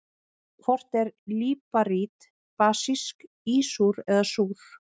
Hvort er líparít basísk, ísúr eða súr?